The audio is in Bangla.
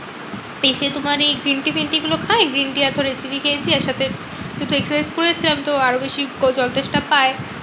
এসে তোমার এই green tea ফিন tea গুলো খাই। green tea খেয়েছি আর তার সাথে দুটো করেছিলাম তো আরো বেশি জল তেষ্টা পায়।